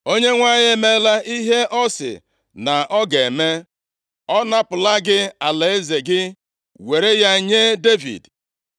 Onyenwe anyị emeela ihe ọ sị na ọ ga-eme. Ọ napụla gị alaeze gị were ya nye Devid. + 28:17 \+xt 1Sa 15:28\+xt*